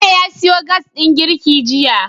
Bello ya siyo Gas din girki jiya